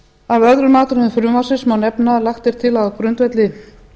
af öðrum atriðum frumvarpsins má nefna að lagt er til að á grundvelli